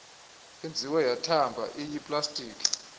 yenziwe yathamba iyiplastiki